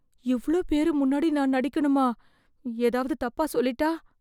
இவ்ளோ பேரு முன்னாடி நான் நடிக்கனுமா? ஏதாவது தப்பா சொல்லிட்டா...